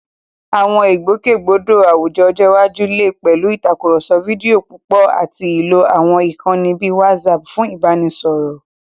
Àwọn ìgbòkègbodò àwùjọ ọjọ́ iwájú lè pẹ̀lú ìtàkùrọ̀sọ fídíò púpọ̀ àti lílo àwọn ìkànnì bíi WhatsApp fún ìbáraẹnisọ̀rọ̀.